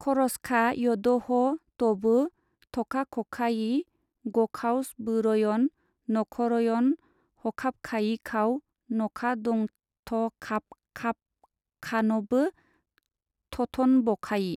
खरसखा यद'ह' तबो थखाखखायि गखावसबोरयन नखरयन हखाबखायिखाव नखादंथखाबखाफखान'बो थथनबखायि।